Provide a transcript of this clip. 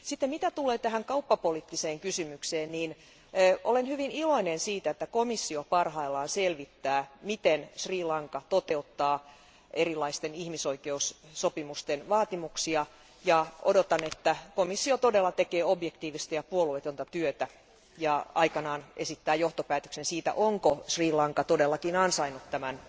Mitä tulee kauppapoliittiseen kysymykseen, olen hyvin iloinen siitä, että komissio parhaillaan selvittää, miten Sri Lanka toteuttaa erilaisten ihmisoikeussopimusten vaatimuksia. Odotan, että komissio todella tekee objektiivista ja puolueetonta työtä ja aikanaan esittää johtopäätöksen siitä, onko Sri Lanka todellakin ansainnut tämän